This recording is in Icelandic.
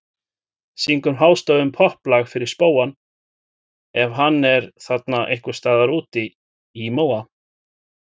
Syngur hástöfum popplag fyrir spóann ef hann er þarna ein- hvers staðar úti í móa.